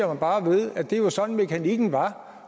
mig bare ved at det var sådan mekanikken var